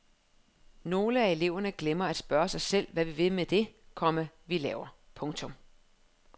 Nogle af eleverne glemmer at spørge sig selv hvad vi vil med det, komma vi laver. punktum